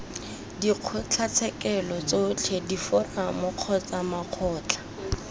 dikgotlatshekelo tsotlhe diforamo kgotsa makgotla